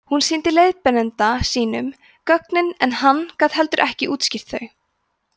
hún sýndi leiðbeinanda sínum gögnin en hann gat heldur ekki útskýrt þau